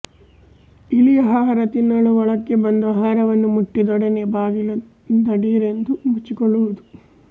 ಇಲಿ ಆಹಾರ ತಿನ್ನಲು ಒಳಕ್ಕೆ ಬಂದು ಆಹಾರವನ್ನು ಮುಟ್ಟಿದೊಡನೆ ಬಾಗಿಲು ಧಡೀರೆಂದು ಮುಚ್ಚಿಕೊಳ್ಳುವುದು